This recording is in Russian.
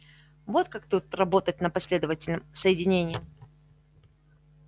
вот как тут работать на последовательном соединении